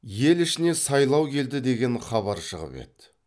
ел ішіне сайлау келді деген хабар шығып еді